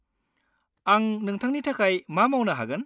आं नोंथांनि थाखाय मा मावनो हागोन?